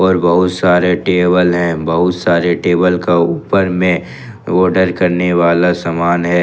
और बहुत सारे टेबल हैं बहुत सारे टेबल का ऊपर में ऑर्डर करने वाला समान है।